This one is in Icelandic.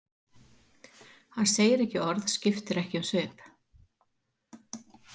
Hann segir ekki orð, skiptir ekki um svip.